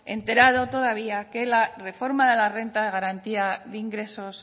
enterado todavía que la reforma de la renta de garantía de ingresos